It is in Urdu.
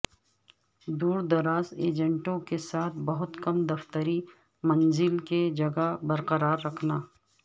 دور دراز ایجنٹوں کے ساتھ بہت کم دفتری منزل کی جگہ برقرار رکھنا